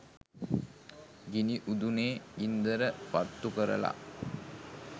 ගිනි උදුනේ ගින්දර පත්තු කරලා